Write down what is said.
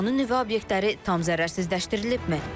İranın nüvə obyektləri tam zərərsizləşdirilibmi?